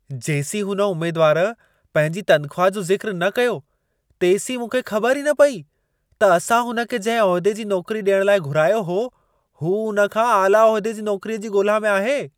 जेसीं हुन उमेदवारु पंहिंजी तनख़्वाह जो ज़िक्रु न कयो, तेसीं मूंखे ख़बर ई न पेई, त असां हुन खे जंहिं उहिदे जी नौकरी ॾियण लाइ घुरायो हो, हू उन खां आला उहिदे जी नौकरीअ जी ॻोल्हा में आहे।